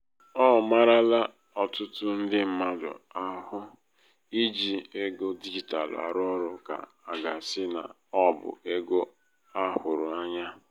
ọ marala ọtụtụ ndị mmadụ ahụ i ji ego digitalụ arụ ọrụ ka aga-asị na ọ bụ ego ahụrụ ányá.